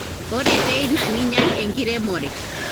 ore teina ninyial enkiremore